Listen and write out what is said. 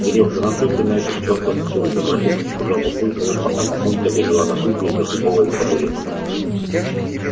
серёг да наплюй ты на этот чёртов стул добродушно сказал папулька пока мамулька бежала на кухню за дубовой табуреткой